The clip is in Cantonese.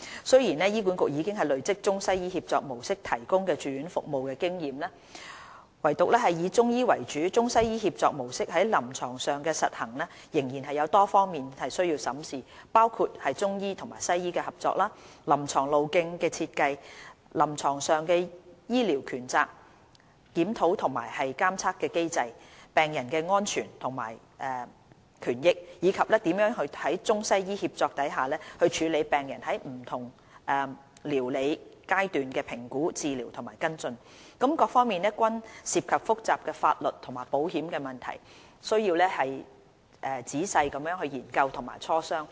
雖然醫管局已累積中西醫協作模式提供住院服務的經驗，唯獨以中醫為主的中西醫協作模式在臨床上的實行仍有多方面需要審視，包括中醫和西醫的合作、臨床路徑的設計、臨床上的醫療權責、檢討和監察機制、病人的安全及權益，以及如何在中西醫協助下處理病人在不同療理階段的評估、治療和跟進等，各方面均涉及複雜的法律和保險問題，需時仔細研究和磋商。